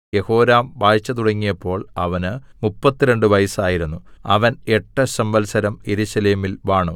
യെഹോരാം വാഴ്ച തുടങ്ങിയപ്പോൾ അവന് മുപ്പത്തിരണ്ട് വയസ്സായിരുന്നു അവൻ എട്ട് സംവത്സരം യെരൂശലേമിൽ വാണു